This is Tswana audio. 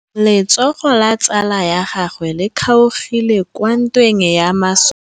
Letsôgô la tsala ya gagwe le kgaogile kwa ntweng ya masole.